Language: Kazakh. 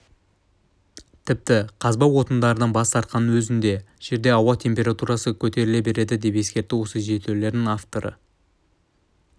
тіпті қазба отындардан бас тартқанның өзінде жерде ауа температурасы көтеріле береді деп ескертті осы зерттеулер авторы